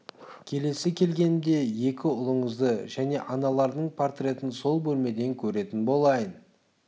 келесі келгенімде екі ұлыңызды және аналарының портретін сол бөлмеден көретін болайын